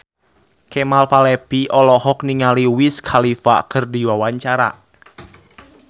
Kemal Palevi olohok ningali Wiz Khalifa keur diwawancara